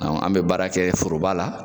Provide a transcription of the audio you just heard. Awɔ an be baara kɛ foroba la